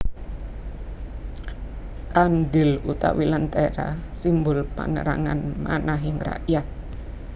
Kandhil utawi lentera simbol panerangan manahing rakyat